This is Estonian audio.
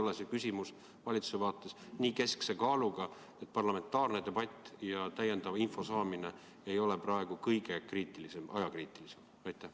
Kas see küsimus pole valitsuse arvates nii keskse tähtsusega, et parlamentaarne debatt ja parlamendile täiendava info andmine ei ole praegu kõige olulisem?